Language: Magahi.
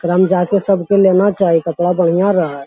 एकराम जा के सबके लेना चाही कपड़ा बढ़ियां रहहय।